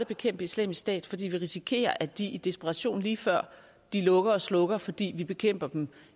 bekæmpe islamisk stat fordi vi risikerer at de i desperation lige før de lukker og slukker fordi vi bekæmper dem